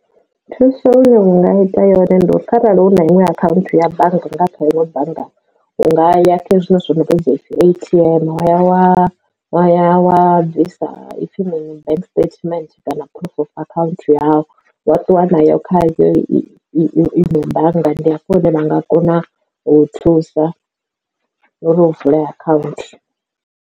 Thuso ine unga ita yone ndi uri arali hu na iṅwe akhaunthu ya bannga kha iṅwe bannga u nga ya kha zwiṅwe zwithu zwo no vhudzwa upfhi A_T_M wa ya wa wa ya wa bvisa ipfhi mini bank statement kana proof of account yau wa ṱuwa na yo kha iṅwe bannga ndi afho hune vha nga kona u thusa uri u vule account.